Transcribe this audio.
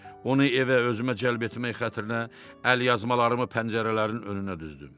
Onu evə özümə cəlb etmək xətrinə əlyazmalarımı pəncərələrin önünə düzdüm.